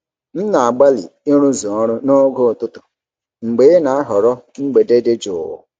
M na-agbalị ịrụzu ọrụ noge ụtụtụ mgbe ị na-ahọrọ mgbede dị jụụ.